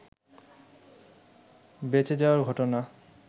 বেঁচে যাওয়ার ঘটনা